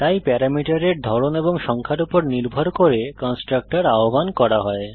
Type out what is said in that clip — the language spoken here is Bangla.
তাই প্যারামিটারের ধরণ এবং সংখ্যার উপর নির্ভর করে কন্সট্রাকটর আহ্বান করা হয়